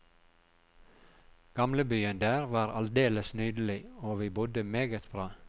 Gamlebyen der var aldeles nydelig, og vi bodde meget bra.